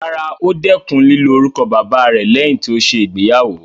Rárá, ó dẹkùn lílo orúkọ bàbáa rẹ̀ lẹ́yìn tí ó ṣe ìgbéyàwó.